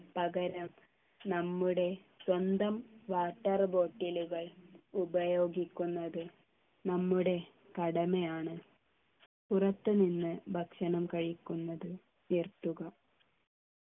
പകരം നമ്മുടെ സ്വന്തം water bottle കൾ ഉപയോഗിക്കുന്നത് നമ്മുടെ കടമയാണ് പുറത്തുനിന്ന് ഭക്ഷണം കഴിക്കുന്നതും നിർത്തുക